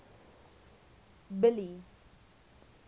billy